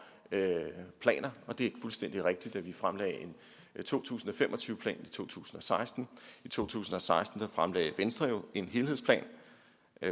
planer det er fuldstændig rigtigt at vi fremlagde en to tusind og fem og tyve plan i to tusind og seksten i to tusind og seksten fremlagde venstre jo en helhedsplan